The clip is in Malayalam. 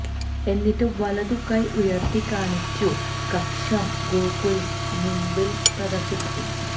എന്നിട്ട് വലതു കൈ ഉയർത്തി കാണിച്ചു കക്ഷം ഗോകുലിന് മുൻപിൽ പ്രദർശിപ്പിച്ചു